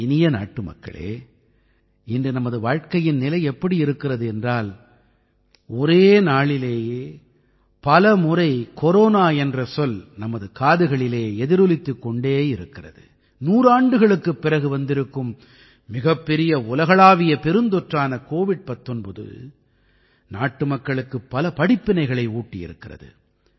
என் இனிய நாட்டுமக்களே இன்று நமது வாழ்க்கையின் நிலை எப்படி இருக்கிறது என்றால் ஒரே நாளிலேயே பலமுறை கொரோனா என்ற சொல் நமது காதுகளிலே எதிரொலித்துக் கொண்டே இருக்கிறது நூறாண்டுகளுக்குப் பிறகு வந்திருக்கும் மிகப்பெரிய உலகளாவிய பெருந்தொற்றான கோவிட்19 நாட்டுமக்களுக்கு பல படிப்பினைகளை ஊட்டியிருக்கிறது